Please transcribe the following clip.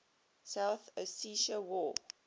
south ossetia war